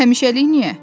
Həmişəlik niyə?